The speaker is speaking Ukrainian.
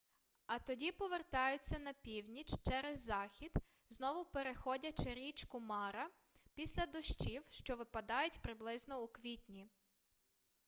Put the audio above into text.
а тоді повертаються на північ через захід знову переходячи річку мара після дощів що випадають приблизно у квітні